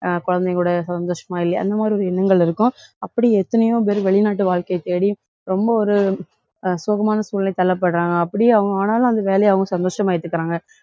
அஹ் குழந்தைங்க கூட சந்தோஷமா இல்லையா அந்த மாதிரி ஒரு எண்ணங்கள் இருக்கும். அப்படி எத்தனையோ பேர் வெளிநாட்டு வாழ்க்கைய தேடி, ரொம்ப ஒரு அஹ் சோகமான சூழ்நிலைக்கு தள்ளப்படுறாங்க. அப்படி அவங்க ஆனாலும், அந்த வேலையை அவங்க சந்தோஷமா ஏத்துக்குறாங்க.